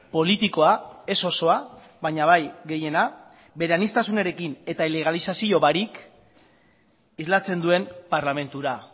politikoa ez osoa baina bai gehiena bere aniztasunarekin eta ilegalizazio barik islatzen duen parlamentura